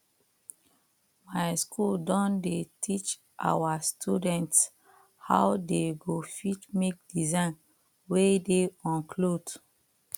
my school don dey teach our students how they go fit make design wey dey on cloth